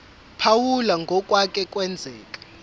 phawula ngokwake kwenzeka